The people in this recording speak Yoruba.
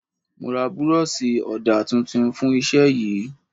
Mo ra buroosi ọdà tuntun fún Iṣẹ́ yìí.